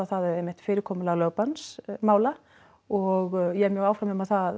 fyrirkomulag lögbannsmála og ég er mjög áfram um að það